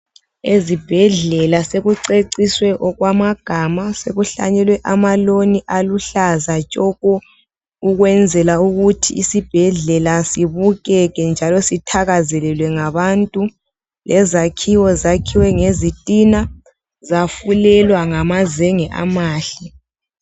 Ezibhedlela sekuceciswe okwamagama sekuhlanyelwe ama loan aluhlaza tshoko ukwenzela ukuthi isibhedlela sibukeka njalo sithakazelelwe ngabantu lezakhiwo zakhiwe ngezitina zafulelwa ngamazenge amahle.